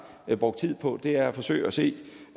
brugt tid på er at forsøge at se